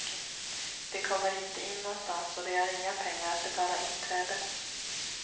De kommer inte in någonstans och de har inga pengar att betala inträde.